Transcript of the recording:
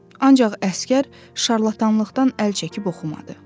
Ancaq əsgər şarlatanlıqdan əl çəkib oxumadı.